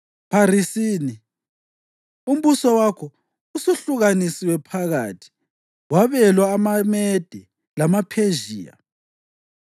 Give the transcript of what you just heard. Pharisini: Umbuso wakho usuhlukaniswe phakathi, wabelwa amaMede lamaPhezhiya.”